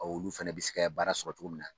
olu fɛnɛ bɛ se ka ye baara sɔrɔ cogo min na.